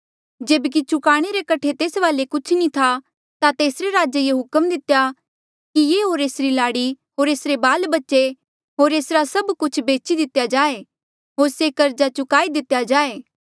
जेब्की चूकाणे रे कठे तेस वाले कुछ नी था ता तेसरे राजे ये हुक्म दितेया कि ये होर एसरी लाड़ी होर एसरे बाल बच्चे होर एसरा सभ कुछ बेची दितेया जाए होर से कर्जा चुकाई दितेया जाए